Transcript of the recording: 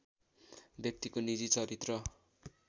व्यक्तिको निजी चरित्र